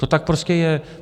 To tak prostě je.